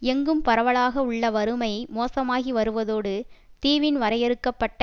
எங்கும் பரவலாக உள்ள வறுமை மோசமாகி வருவதோடு தீவின் வரையறுக்க பட்ட